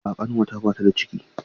A'a ƙanwata bata da ciki.